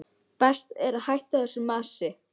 Best að hætta þessu masi.